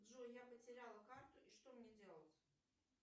джой я потеряла карту и что мне делать